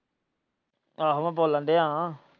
ਆਹੋ ਬੋਲਣ ਡਯਾ ਹਾਂ।